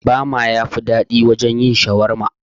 Bama yafi daɗi wurin yin shawarma